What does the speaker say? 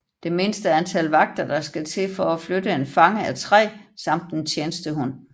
Det mindste antal vagter der skal til for at flytte en fange er tre samt en tjenestehund